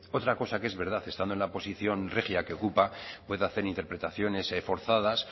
otra cosa que es verdad estando en la posición regia que ocupa pueda hacer interpretaciones forzadas